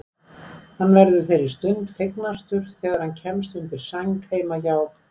Hann verður þeirri stund fegnastur þegar hann kemst undir sæng heima hjá